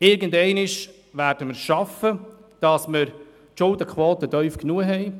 Irgendeinmal werden wir es schaffen, die Schuldenquote tief genug zu haben.